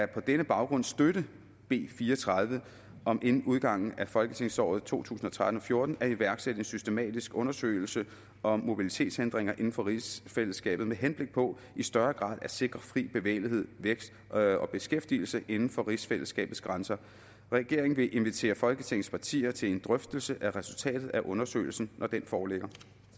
denne baggrund støtte b fire og tredive om inden udgangen af folketingsåret to tusind og tretten til fjorten at iværksætte en systematisk undersøgelse om mobilitetshindringer inden for rigsfællesskabet med henblik på i større grad at sikre fri bevægelighed vækst og og beskæftigelse inden for rigsfællesskabets grænser regeringen vil invitere folketingets partier til en drøftelse af resultatet af undersøgelsen når den foreligger